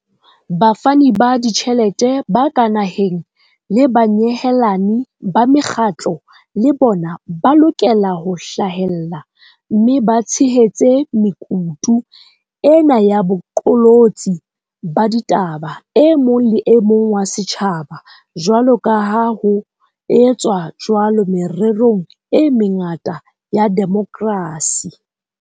Bafani ba ditjhelete ba ka naheng le banyehelani ba mekgatlo le bona ba lokela ho hlahella mme ba tshehetse mekutu ena ya boqolotsi ba ditaba e mo lemong wa setjhaba, jwaloka ha ho etswa jwalo mererong e mengata ya demokrasi.